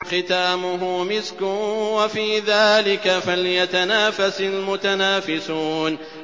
خِتَامُهُ مِسْكٌ ۚ وَفِي ذَٰلِكَ فَلْيَتَنَافَسِ الْمُتَنَافِسُونَ